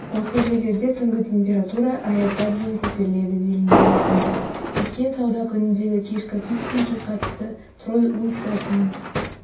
осы жерлерде түнгітемпература аязға дейін көтеріледі делінген мәтінде өткен сауда күніндегі кешкі фиксингке қатысты трой унциясының